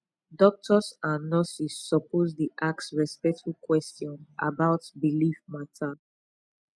doctors and nurses suppose dey ask respectful question about belief matter